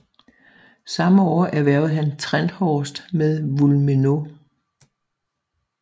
Samme år erhvervede han Trenthorst med Wulmenau